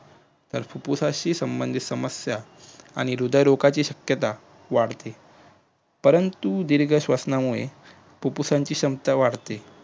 तर फुप्फुसाशी संबधीत समस्या आणि हृदय रोगाची सत्यता वाढते परंतु दीर्घ श्वसनामुळे फुप्फुसाची क्षमता वाढते